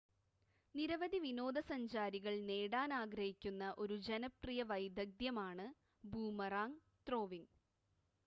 നിരവധി വിനോദസഞ്ചാരികൾ നേടാൻ ആഗ്രഹിക്കുന്ന ഒരു ജനപ്രിയ വൈദഗ്ദ്ധ്യം ആണ് ബൂമറാങ് ത്രോവിങ്